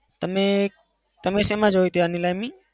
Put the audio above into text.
અને તમે શેમાં જોઈ હતી આ નીલામી?